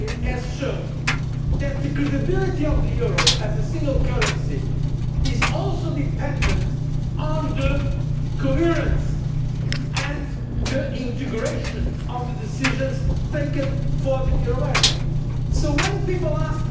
The crisis in the euro area has shown that the credibility of the euro as a single currency is also dependent on the coherence and integration of the decisions taken for the euro area.